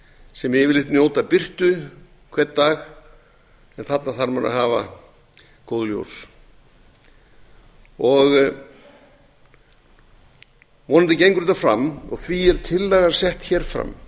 sem yfirleitt njóta birtu hvern dag en þarna þarf maður að hafa góð ljós vonandi gengur þetta fram og því er tillagan sett fram